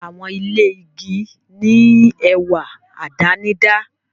Àwọn ilé igi ní ẹwà àdánidá.